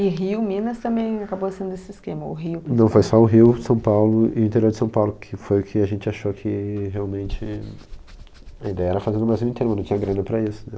E Rio, Minas também acabou sendo esse esquema, ou Rio... Não, foi só o Rio, São Paulo e o interior de São Paulo, que foi o que a gente achou que realmente... A ideia era fazer no Brasil inteiro, mas não tinha grana para isso, né?